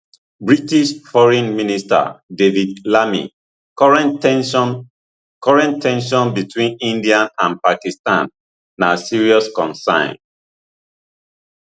british foreign minister david lammy current ten sion current ten sion between india and pakistan na serious concern